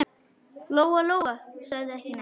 Lóa-Lóa sagði ekki neitt.